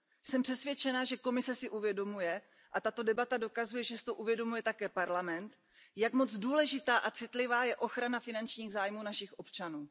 Jsem přesvědčena, že Komise si uvědomuje a tato debata dokazuje, že si to uvědomuje také Evropský parlament, jak moc důležitá a citlivá je ochrana finančních zájmů našich občanů.